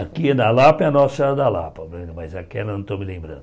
Aqui é da Lapa, é a Nossa Senhora da Lapa, mas aquela não estou me lembrando.